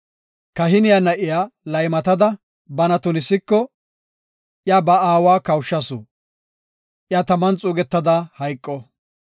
Kahiniya na7iya laymatada bana tunisiko, iya ba aawa kawushasu; iya taman xuugetada hayqo.